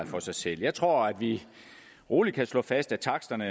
for sig selv jeg tror vi roligt kan slå fast at taksterne